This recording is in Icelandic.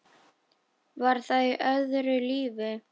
Var það í öðru lífi?